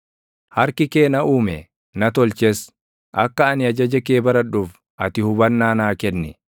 Harki kee na uume; na tolches; akka ani ajaja kee baradhuuf ati hubannaa naa kenni.